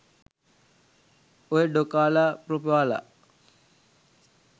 ඔය ඩොකාලා ප්‍රොපාලා